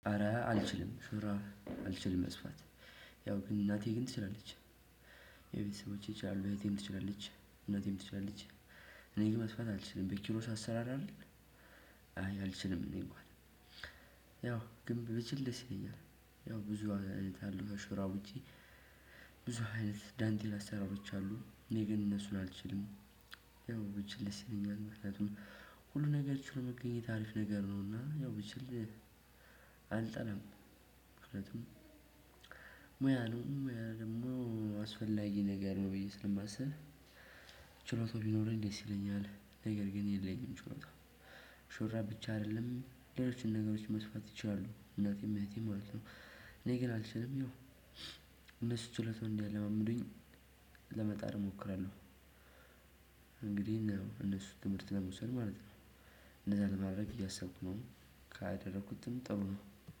አረ አልችልም ሹራብ አልችልም መስፋት ያው ግን እናቴ ግን ትችላለች። የቤተሰቦቼ ይቻላሉ እህቴም ትችላለች እናቴም ትችላለች። እኔ ግን መስፋት አልችልም በኪሮሽ አሰራር አይደል? አይ አልችልም። እኔ እንኳን ያው ግን ብችል ደስ ይለኛል። ያው ብዙ አይነት አሉ ሹራቦቻ። ውጪ አይነት ዳንቴል አሰራሮች አሉ እኔ ግን እነሱ ላልችልም። ያው ብቻ ልስለኝ አላት ምክንያቱም ሁሉ ነገር ችሎ መገኘት አሪፍ ነገር ነው። እና ያው ብችል አልጠላም። ምክንያቱም ሙያ ነው ሙያ ደግሞ አስፈላጊ ነገር ነው ብዬ ስለማስብ። ችሎታው ቢኖረኝ ደስ ይለኛል ነገር ግን የለኝም ችሎታ። ሹራብ ብቻ አይደለም ሌሎችን ነገሮች መስፋት ይቻላሉ እናቴም እህቴም ማለት ነው። እኔ ግን አልችልም ያው እነሱ ችሎታው እንዲያለማምዱኝ ለመጣር እሞክራለሁ። እንግዲህ እነሱ ትምህርት ለመውሰድ ማለት ነው። እነዛ ለማድረግ እያሰብኩ ነው። ካደረኩትም ጥሩ ነው።